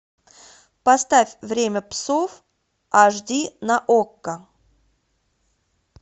поставь время псов аш ди на окко